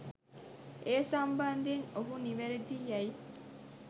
ඒ සම්බන්ධයෙන් ඔහු නිවැරදි යැයි